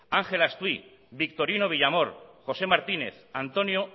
ángel astuy victorino villamor josé martínez antonio